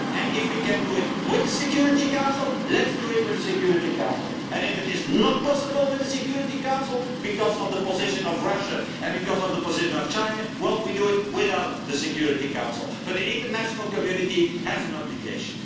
If we can do this with the Security Council, let us do it with the Security Council. If it is not possible with the Security Council because of the position taken by Russia and China, we will do it without the Security Council. But the international community has an obligation.